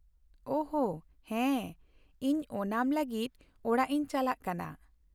ᱳᱦ, ᱦᱮᱸ, ᱤᱧ ᱳᱱᱟᱢ ᱞᱟᱹᱜᱤᱫ ᱚᱲᱟᱜ ᱤᱧ ᱪᱟᱞᱟᱜ ᱠᱟᱱᱟ ᱾